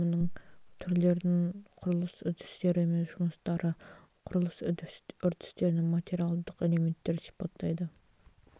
құрылыс өнімінің түрлерін құрылыс үрдістері мен жұмыстары құрылыс үрдістерінің материалдық элементтерін сипаттайды